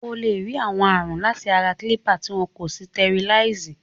O lè kó ààrùn láti ara kílípà tí wọn kò sitẹriláìsì.